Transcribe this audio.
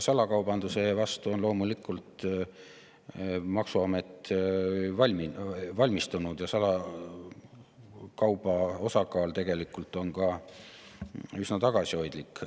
Salakaubanduse vastu on loomulikult maksuamet valmistunud, aga salakauba osakaal on tegelikult ka üsna tagasihoidlik.